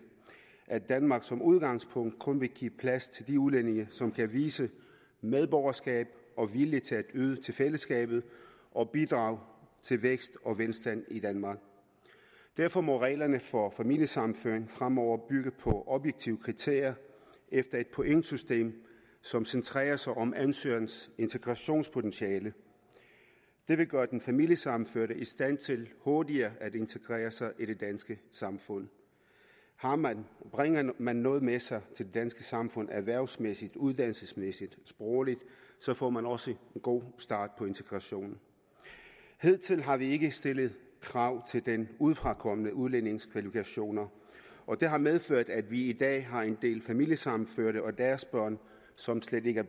danmark skal som udgangspunkt kun give plads til de udlændinge som kan vise medborgerskab og vilje til at yde til fællesskabet og bidrage til vækst og velstand i danmark derfor må reglerne for familiesammenføring fremover bygge på objektive kriterier efter et pointsystem som centrerer sig om ansøgerens integrationspotentiale det vil gøre den familiesammenførte i stand til hurtigere at integrere sig i det danske samfund bringer man noget med sig til det danske samfund erhvervsmæssigt uddannelsesmæssigt sprogligt får man også en god start på integrationen hidtil har vi ikke stillet krav til den udefrakommende udlændings kvalifikationer og det har medført at vi i dag har en del familiesammenførte og deres børn som slet ikke er